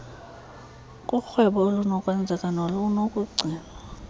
korhwebo olunokwenzeka nolunokugcinwa